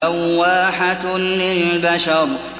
لَوَّاحَةٌ لِّلْبَشَرِ